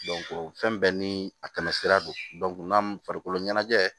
fɛn bɛɛ ni a tɛmɛsira don n'a farikolo ɲɛnajɛ